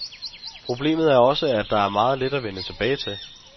Problemet er også, at der er meget lidt at vende tilbage til.